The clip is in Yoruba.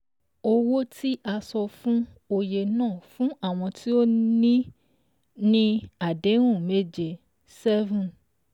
Owó tí a san fún oye náà fún àwọn tí o ni àdéhùn méje seven